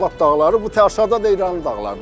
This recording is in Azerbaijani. Ordubad dağları bu aşağıda da İranın dağlarıdır.